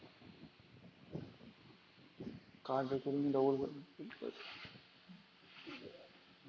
।